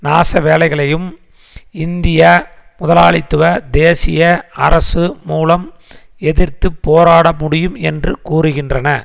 நாச வேலைகளையும் இந்திய முதலாளித்துவ தேசிய அரசு மூலம் எதிர்த்து போராட முடியும் என்று கூறுகின்றன